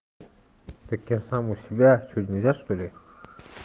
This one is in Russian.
так я сам у себя что нельзя что ли